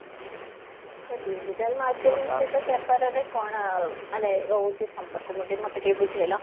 ତା digital marketing ସହିତ ବେପରା ରେ କଣ ମାନେ ରହୁଛି ସଂପର୍କ ମତେ ଟିକେ ବୁଝେଇଲ?